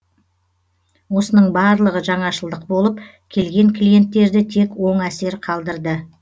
осының барлығы жаңашылдық болып келген клиенттерді тек оң әсер қалдырды